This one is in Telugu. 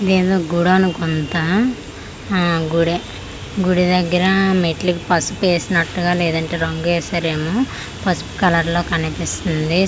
ఇదేందో గుడి అనుకుంటా హా గుడే గుడి దగ్గర మెట్లకి పసుపు వేసినట్లుగా లేదా రంగేసారేమో పసుపు కలర్ లో కనిపిస్తుంది.